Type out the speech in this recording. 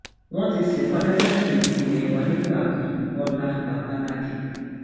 wọn ti sìnkú adájọfẹyìntì ilé wa nígbà kan bọlá babalakín